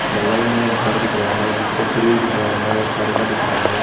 बगल में एक घर दिख रहा है जिसके ग्रिल दिख रहा है और पर्दा दिख रहा है।